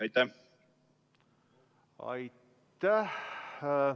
Aitäh!